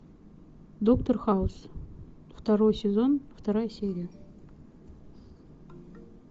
доктор хаус второй сезон вторая серия